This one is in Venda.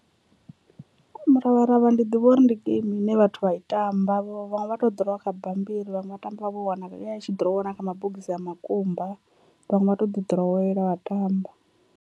Muravharavha ndi ḓivha uri ndi geimi ine vhathu vha i tamba vhaṅwe vha to ḓirowa kha bammbiri, vhaṅwe vha tamba vha vho wanala ya i tshi ḓirowa na kha mabogisi a makumba, vhaṅwe vha to ḓi ḓirowela vha tamba.